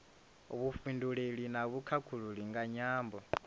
vhufhinduleli na vhukhakhulili nga nyambo